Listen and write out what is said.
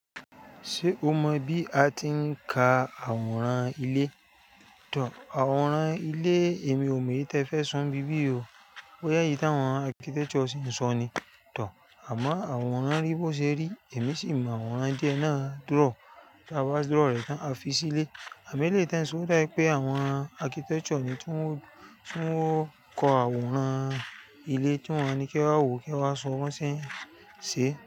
Ṣé o mọ bí a ti ń ka àwòrán ilé? Tor, àwòrán ilé èmi ò mọ èyí tí ẹ fẹ́ sọ ni bí bí yí o. Bóyá èyí tí àwọn architecture sì ni sọ ni, tor, àmọ́ àwòrán rí bó ṣe rí, èmi sì mọ àwòrán díẹ̀ náà draw, táa bá dúrọ̀ rẹ̀ tán a fi sílé. Àmo ẹ́leyì tí e ń ṣọ oda wípé àwọn architecture ni ti wọ́n, tí wọ́n kọ àwòrán ilé tí wọ́n ní ke wá wò, kí e wa sọ bọ́ n ṣe ń ṣe.